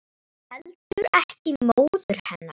Og heldur ekki móður hennar.